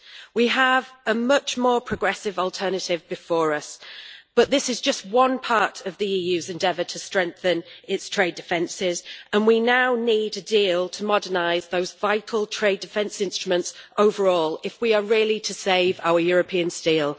We have a much more progressive alternative before us, but this is just one part of the EU's endeavour to strengthen its trade defences, and we now need a deal to modernise those vital trade defence instruments overall if we are really to save our European steel.